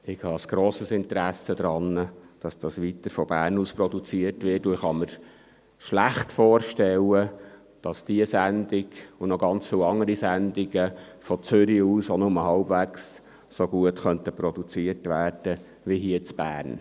Ich habe ein grosses Interesse daran, dass dieses weiterhin von Bern aus produziert wird, und kann mir schlecht vorstellen, dass diese Sendung sowie viele andere Sendungen von Zürich aus auch nur halbwegs so gut produziert werden könnten wie hier in Bern.